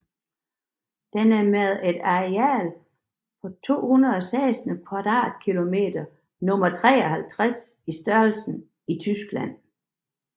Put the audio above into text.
Den er med et areal på 216 km² nummer 53 i størrelse i Tyskland